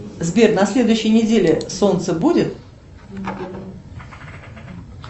сбер на следующей неделе солнце будет